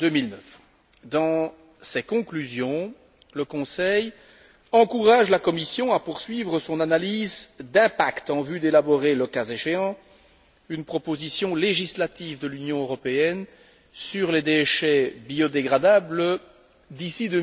2009. Dans ses conclusions, le Conseil encourage la Commission à poursuivre son analyse d'impact en vue d'élaborer, le cas échéant, une proposition législative de l'Union européenne sur les déchets biodégradables d'ici